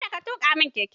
Kada ka tuka mun keke!